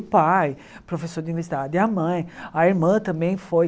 O pai, professor de universidade, a mãe, a irmã também foi.